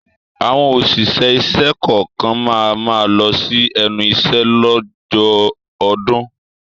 Àwọn òṣìṣẹ́ ìṣẹ́ kọ̀ọ̀kan máa ma lọ sí ẹnu iṣẹ́ lọ́jọ́ ọdún